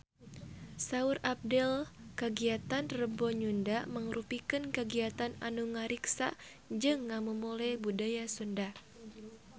Saur Abdel kagiatan Rebo Nyunda mangrupikeun kagiatan anu ngariksa jeung ngamumule budaya Sunda